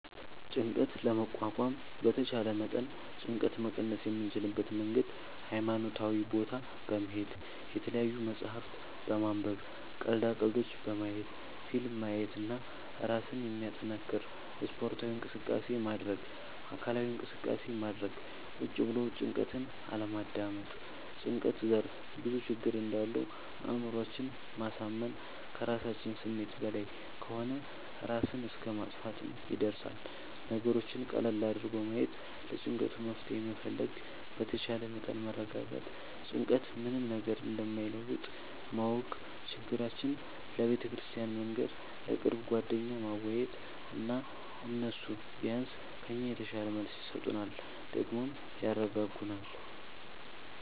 ጭንቀት ለመቋቋም በተቻለ መጠን ጭንቀት መቀነስ የምንችልበት መንገድ ሀይማኖታዊ ቦታ በመሄድ፣ የተለያዪ መፅሀፍት በማንበብ፣ ቀልዳ ቀልዶች በማየት፣ ፊልም ማየት እና እራስን የሚያጠነክር ስፓርታዊ እንቅስቃሴ ማድረግ። አካላዊ እንቅስቃሴ ማድረግ ቁጭ ብሎ ጭንቀትን አለማዳመጥ። ጭንቀት ዘርፍ ብዙ ችግር እንዳለው አእምሮአችን ማሳመን ከራሳችን ስሜት በላይ ከሆነ እራስን እስከ ማጥፍትም ይደርሳል። ነገሮችን ቀለል አድርጎ ማየት ለጭንቀቱ መፍትሄ መፈለግ በተቻለ መጠን መረጋጋት ጭንቀት ምንም ነገር እንደማይለውጥ ማወቅ ችግራችን ለቤተክርስቲያን መንገር፣ ለቅርብ ጓደኛ ማዋየት እና እነሱ ቢያንስ ከኛ የተሻለ መልስ ይሰጡናል ደግሞም ያረጋጉናል።